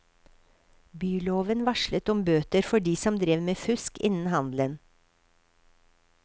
Byloven varslet om bøter for de som drev med fusk innen handelen.